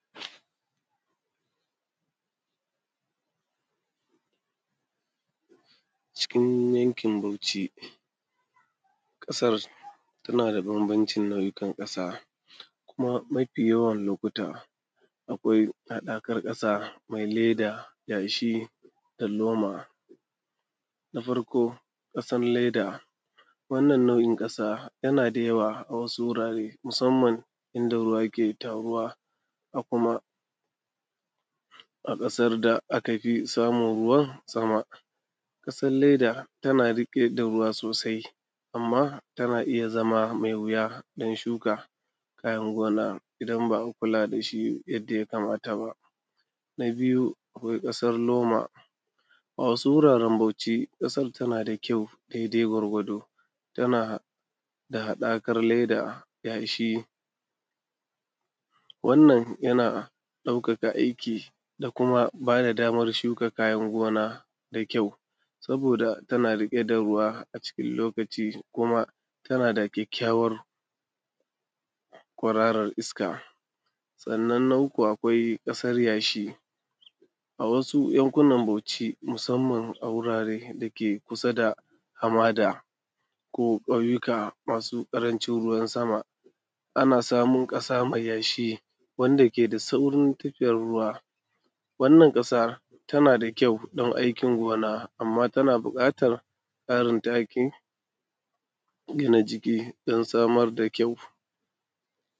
Cikin yankin Bauci ƙasar tana dana da banbanci nau’ikan ƙasa, kuma mafi yawan lokuta akwai haɗakar kasa mai leda, yashi, dan loma. Na farko ƙasan leda, wannan na’in ƙasa yana da yawa a wasu wurare musamman inda ruwa yake taruwa,a kuma a ƙasar da aka fi samun ruwan sama, ƙasar leda tana da rike da ruwa sosai amma tana iya zama mai wuya don shuka kayan gona idan ba a kula dashi yadda ya kamata ba. Na biyu akwai ƙasar loma, a wasu wuraren bauci ƙasan tana da kyau daidai gwargwado tana da haɗakar leda, yashi. Wannan yana ɗaukaka aiki da kuma bada damar shukan kayan gona da kyau, saboda tana riƙe da ruwa a cikin lokaci kuma tana da kyakkyawar ƙwararrar iska. Sannan na uku akwai ƙasar yashi, a wasu yankuna nan Bauci musamman a wurare dake kusa da hamada ko ƙauyuka masu ƙarancin ruwan sama, ana samun ƙasa mai yashi wanda ke da saurin tofe ruwa, wannan ƙasar tana da kyau don aikin gona amma tana buƙatan ƙarin taki dana jiki don samar da kyau.s